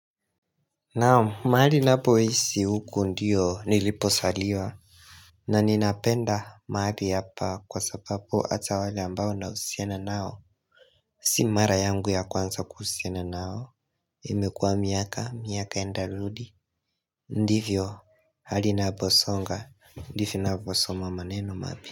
Naam, mahali ninapoishi huko ndiyo nilipozaliwa na ninapenda mahali hapa, kwasababu hata wale ambao nahusiana nao Si mara yangu ya kwanza kuhusiana nao imekua miaka, miaka nenda rudi Ndivyo hali inaposonga ndivyo ninavyosoma maneno mapya.